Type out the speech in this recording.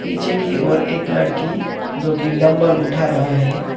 पीछे की ओर एक लड़की जो की डंबल उठा रहा है।